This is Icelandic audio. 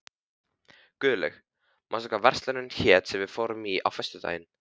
Guðlaug, manstu hvað verslunin hét sem við fórum í á föstudaginn?